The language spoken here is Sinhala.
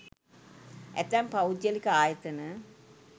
ඇතැම් පෞද්ගලික ආයතන